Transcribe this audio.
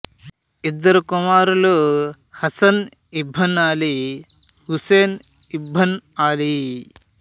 ఇద్దరు కుమారులు Hasan ibn Ali Hussain ibn Ali